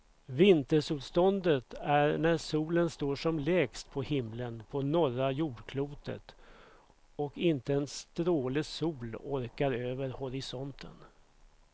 Vintersolståndet är när solen står som lägst på himlen på norra jordklotet och inte en stråle sol orkar över horisonten.